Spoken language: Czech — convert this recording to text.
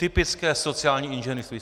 Typické sociální inženýrství!